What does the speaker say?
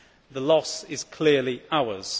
The loss is clearly ours.